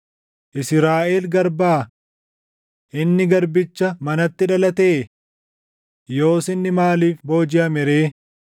Israaʼel garbaa? Inni garbicha manatti dhalatee? Yoos inni maaliif boojiʼame ree?